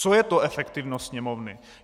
Co je to efektivnost Sněmovny?